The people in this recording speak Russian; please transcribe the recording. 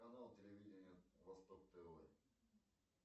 канал телевиденья восток тв